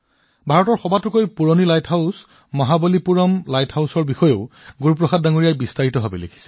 গুৰু প্ৰসাদজীয়ে ভাৰতৰ আটাইতকৈ পুৰণি লাইট হাউট মহাবালিপুৰম লাইট হাউচৰ বিষয়েও বিতংভাৱে লিখিছে